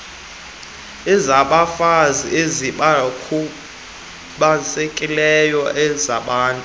ezabafazi ezabakhubazekileyo azabantu